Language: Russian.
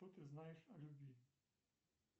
что ты знаешь о любви